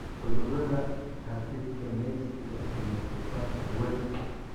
Cudurada habdhiska neefsiga ayaa ku faafa hawada.